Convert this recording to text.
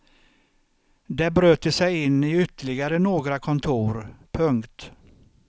Där bröt de sig in i ytterligare några kontor. punkt